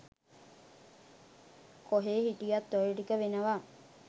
කොහේ හිටියත් ඔය ටික වෙනවා.